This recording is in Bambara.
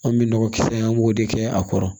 An bɛ nɔgɔ kisɛ in an b'o de kɛ a kɔrɔ